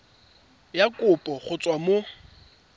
ya kopo go tswa mo